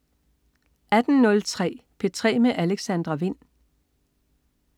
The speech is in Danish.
18.03 P3 med Alexandra Wind